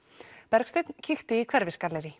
Bergsteinn kíkti í